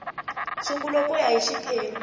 sungula ku ya hi xiphemu